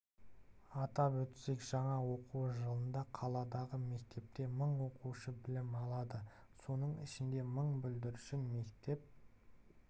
атап өтсек жаңа оқу жылында қаладағы мектепте мың оқушы білім алады соның ішінде мың бүлдіршін мектеп